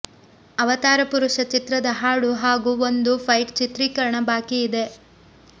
ಅವತಾರ ಪುರುಷ ಚಿತ್ರದ ಹಾಡು ಹಾಗೂ ಒಂದು ಫೈಟ್ ಚಿತ್ರೀಕರಣ ಬಾಕಿಯಿದೆ